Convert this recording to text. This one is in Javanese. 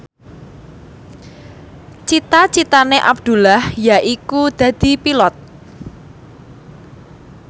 cita citane Abdullah yaiku dadi Pilot